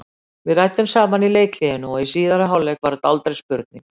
Við ræddum saman í leikhléinu og í síðari hálfleik var þetta aldrei spurning.